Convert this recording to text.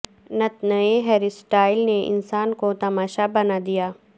نت نئے hairstyle نے انسان کو تماشا بنادیا